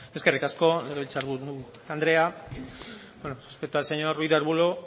eskerrik asko legebiltzar buru andrea respecto al señor ruiz de arbulo